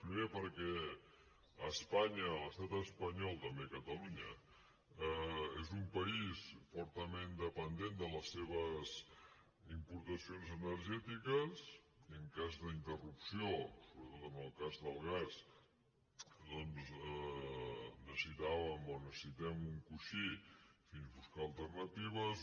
primer perquè espanya l’estat espanyol també catalunya és un país fortament dependent de les seves importaci·ons energètiques i en cas d’interrupció sobretot en el cas del gas doncs necessitàvem o necessitem un co·ixí fins a buscar alternatives